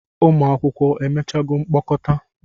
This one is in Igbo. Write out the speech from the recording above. Ụmụ akwụkwọ emechago mkpokọta?